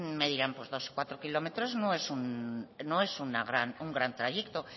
me dirán pues dos o cuatro kilómetros no es un gran trayecto